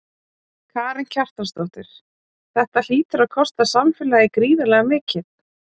Karen Kjartansdóttir: Þetta hlýtur að kosta samfélagið gríðarlega mikið?